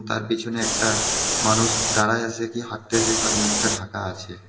তার পিছনে একটা মানুষ দাঁড়ায় আছে কি হাঁটতেছে তার মুখটা ঢাকা আছে.